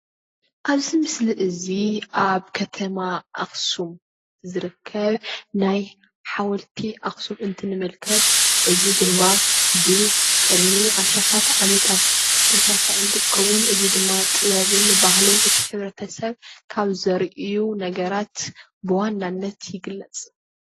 ኣብዚ ምስሊ እዚ ኣብ ከተማ ኣኽሱም ዝርከብ ናይ ሓወልቲ ኣኽሱም እንትንምልከት እዚ ድማ ብቅድሚ ኣሽሓት ዓመታት ዝተሰረሓ እንትትከውን፣ እዚ ድማ ጥበብን ባህልን እቲ ሕብረተሰብ ካብ ዘርእዩ ነገራት ብዋናነት ይግለፅ።